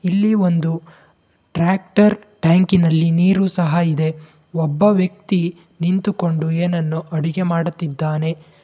ಇಲ್ಲಿ ಒಂದು ಟ್ರ್ಯಾಕ್ಟರ್ ಟ್ಯಾಂಕಿನಲ್ಲಿ ನೀರು ಸಹ ಇದೆ ಒಬ್ಬ ವ್ಯಕ್ತಿ ನಿಂತುಕೊಂಡು ಏನನ್ನೋ ಅಡುಗೆ ಮಾಡುತ್ತಿದ್ದಾನೆ.